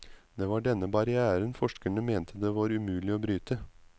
Det var denne barrièren forskerne mente det var umulig å bryte.